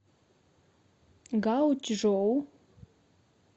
гаочжоу